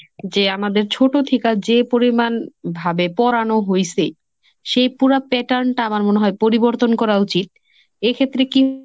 যে আমাদের ছোট থিকা যে পরিমাণ ভাবে পড়ানো হইসে, সেই পুরা pattern টা আমার মনে হয় পরিবর্তন করা উচিত। এক্ষেত্রে কি